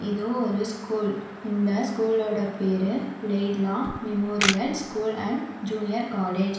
இதோ ஒரு ஸ்கூல் இந்த ஸ்கூலோட பேரு Laidlaw memorial school and junior college .